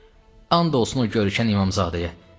And olsun o görkəm İmamzadəyə.